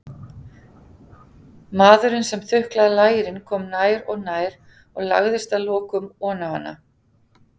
Maðurinn sem þuklaði lærin kom nær og nær og lagðist að lokum oná hana.